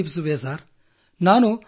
ಖಂಡಿತ ತಲುಪಿಸುವೆ ಸರ್